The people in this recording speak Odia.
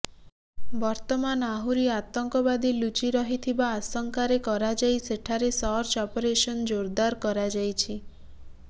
ବର୍ତ୍ତମାନ ଆହୁରି ଆତଙ୍କବାଦୀ ଲୁଚି ରହିଥିବା ଆଶଙ୍କାରେ କରାଯାଇ ସେଠାରେ ସର୍ଚ୍ଚ ଅପରେସନ ଜୋରଦାର କରାଯାଇଛି